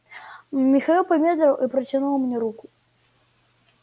михаил помедлил и протянул мне руку